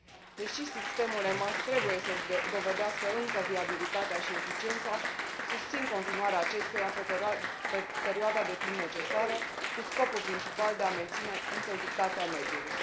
Deși sistemul EMAS trebuie să și dovedească încă viabilitatea și eficiența, susțin continuarea acestuia pe perioada de timp necesară, cu scopul principal de a menține integritatea mediului.